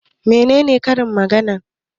Menene karin magana?